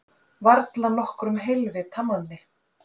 Varla nokkrum heilvita manni.